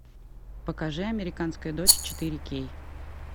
покажи американская дочь четыре кей